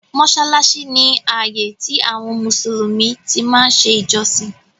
Mọsálásí ni ààyè tí àwọn Mùsùlùmí tí máa ń ṣe ìjọsìn